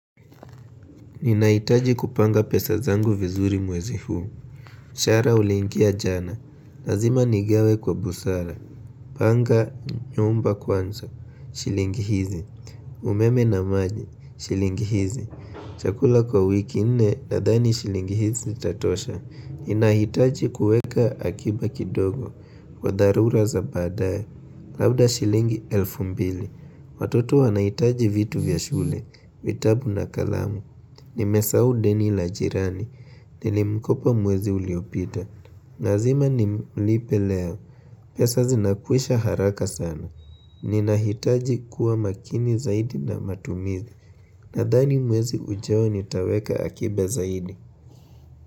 Ninahitaji kupanga pesa zangu vizuri mwezi huu. Mshahara uliingia jana. Lazima nigawe kwa busara. Panga nyumba kwanza. Shilingi hizi. Umeme na maji. Shilingi hizi. Chakula kwa wiki nne nadhani shilingi hizi zitatosha. Ninahitaji kueka akiba kidogo. Kwa dharura za baadaye. Labda shilingi elfu mbili. Watoto wanahitaji vitu vya shule. Vitabu na kalamu. Nimesahu deni la jirani, nilimkopa mwezi uliopita. Lazima nimlipe leo, pesa zinakwisha haraka sana. Ninahitaji kuwa makini zaidi na matumizi. Nadhani mwezi ujao nitaweka akiba zaidi.